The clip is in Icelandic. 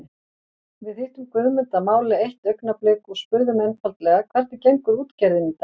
Við hittum Guðmund að máli eitt augnablik og spurðum einfaldlega hvernig gengur útgerðin í dag?